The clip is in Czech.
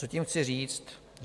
Co tím chci říct?